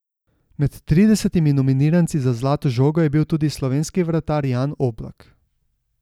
Med tridesetimi nominiranci za zlato žogo je bil tudi slovenski vratar Jan Oblak.